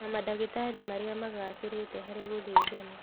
Na mandagĩtarĩ marĩa magacĩrĩte harĩ gũthĩnjana